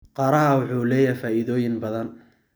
Qaraha wuxuu leeyahay faa'iidooyin badan.